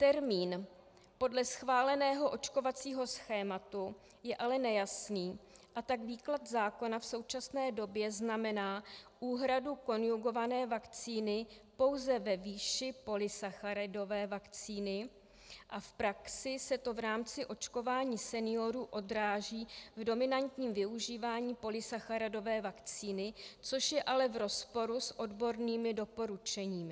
Termín "podle schváleného očkovacího schématu" je ale nejasný, a tak výklad zákona v současné době znamená úhradu konjugované vakcíny pouze ve výši polysacharidové vakcíny a v praxi se to v rámci očkování seniorů odráží v dominantním využívání polysacharidové vakcíny, což je ale v rozporu s odbornými doporučeními.